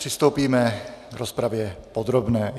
Přistoupíme k rozpravě podrobné.